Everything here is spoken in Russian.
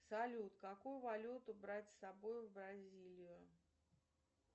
салют какую валюту брать с собой в бразилию